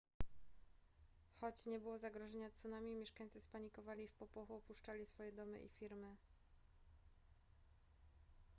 choć nie było zagrożenia tsunami mieszkańcy spanikowali i w popłochu opuszczali swoje domy i firmy